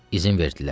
İzin verdilər.